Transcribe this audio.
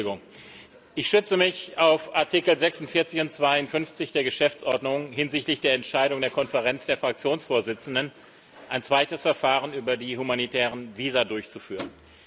Ich bitte um Entschuldigung. Ich stütze mich auf Artikel 46 und 52 der Geschäftsordnung hinsichtlich der Entscheidung der Konferenz der Fraktionsvorsitzenden, ein zweites Verfahren über die humanitären Visa durchzuführen.